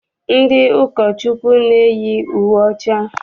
Ndị ụkọchukwu na-eyi uwe ọcha.